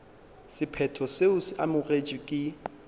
sephetho seo se amogetšwego ke